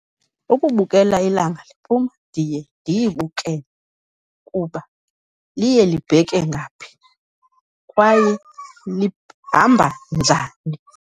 Ukubukela ilanga liphuma, ndiye ndiyibukele kuba liye libheke ngaphi, kwaye hamba njani.